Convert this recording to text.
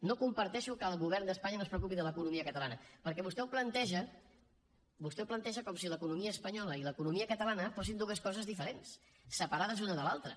no comparteixo que el govern d’espanya no es preocupi de l’economia catalana perquè vostè ho planteja vostè ho planteja com si l’economia espanyola i l’economia catalana fossin dues coses diferents separades una de l’altra